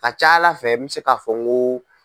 Ka ca ala fɛ n bɛ se k'a fɔ n ko.